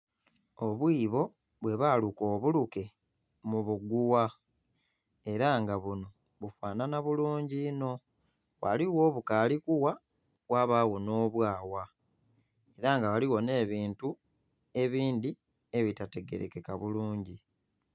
Obwiboo bwibaluka obuluke mubugugha era nga buno bifanhanha bulungi inho ghaligho obukali kugha ghabagho n'obwagha era nga ghaligho n'ebintu ebindhi ebitategerekeka bulungi.